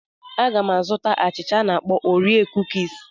Aga m azụta achịcha a na-akpọ orie kukis.